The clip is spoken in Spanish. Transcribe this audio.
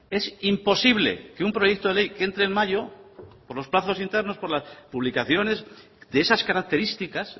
es imposible que un proyecto de ley que entre en mayo por los plazos internos por las publicaciones de esas características